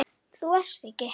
Þú ert ekki.